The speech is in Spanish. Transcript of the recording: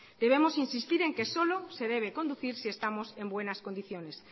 debemos insistir en que solo se debe conducir si estamos en buenas condiciones